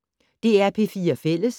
DR P4 Fælles